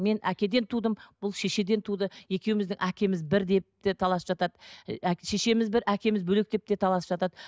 мен әкеден тудым бұл шешеден туды екеуіміздің әкеміз бір деп те таласып жатады шешеміз бір әкеміз бөлек деп те таласып жатады